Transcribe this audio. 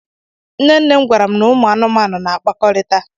Nne nne m gwara m na ụmụ anụmanụ na-akpakọrịta.